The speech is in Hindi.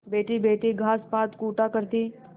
बैठीबैठी घास पात कूटा करती